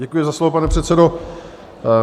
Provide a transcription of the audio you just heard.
Děkuji za slovo, pane předsedo.